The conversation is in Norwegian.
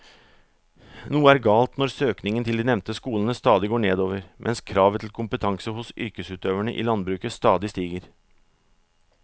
Noe er galt når søkningen til de nevnte skolene stadig går nedover mens kravet til kompetanse hos yrkesutøverne i landbruket stadig stiger.